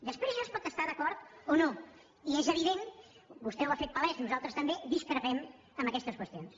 després s’hi pot estar d’acord o no i és evident vostè ho ha fet palès nosaltres també discrepem en aquestes qüestions